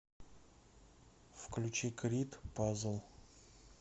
включи крид пазл